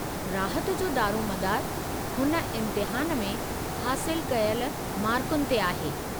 राहत जो दारोमदारु हुन इम्तिहान में हासिलु कयल मारकुनि ते आहे।